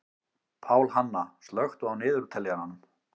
Pálhanna, slökktu á niðurteljaranum.